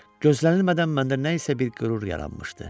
Gözlənilmədən məndə nə isə bir qürur yaranmışdı.